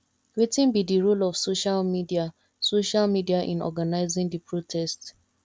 wetin be di role of social media social media in organizing di protest